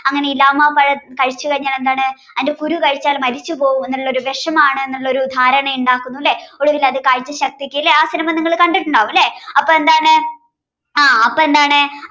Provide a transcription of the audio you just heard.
അങ്ങനെ ഇലാമ പഴം കഴിച്ചു കഴിഞ്ഞാൽ എന്താണ് അതിന്റെ കുരു കഴിച്ചാൽ മരിച്ചുപോകുന്ന ഒരു വിഷമാണ് എന്നൊരു ധാരണ ഉണ്ടാക്കുന്നു അല്ലേ ഒടുവിലത് കാഴ്ച ശക്തിക്ക് ആ സിനിമ നിങ്ങൾ കണ്ടിട്ടുണ്ടാവും അല്ലേ അപ്പ എന്താണ് ആ അപ്പം എന്താണ്